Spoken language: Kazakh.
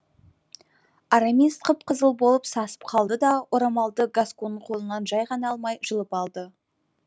арамис қып қызыл болып сасып қалды да орамалды гасконның қолынан жай ғана алмай жұлып алды